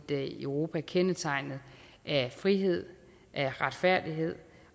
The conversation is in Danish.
europa kendetegnet af frihed af retfærdighed